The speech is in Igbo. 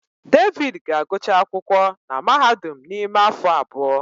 David ga-agụcha akwụkwọ na mahadum n'ime afọ abụọ.